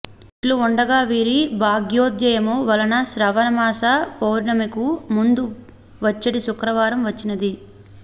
ఇట్లు ఉండగా వీరి భాగ్యోదయము వలన శ్రావణ మాస పూర్ణిమకు ముందు వచ్చెడి శుక్రవారం వచ్చినది